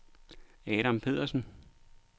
Adam Pedersen